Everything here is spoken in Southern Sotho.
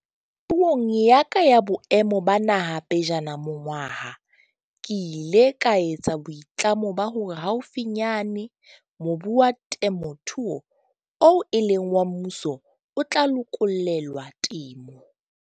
Puong ya ka ya Boemo ba Naha pejana monongwaha ke ile ka etsa boitlamo ba hore haufinyane mobu wa temothuo oo e leng wa mmuso o tla lokollelwa temo.